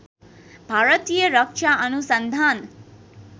भारतीय रक्षा अनुसन्धान